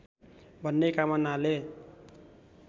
भन्ने कामनाले